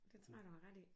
Det tror jeg du har ret i